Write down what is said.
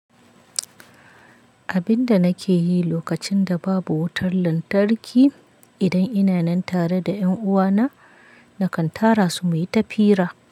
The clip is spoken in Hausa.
Abin da nake yi lokacin da babu wutar lantarki, idan ina nan tare da ƴanuwana, nakan tara su mu yi ta fira.